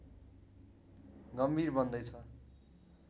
गम्भीर बन्दै छ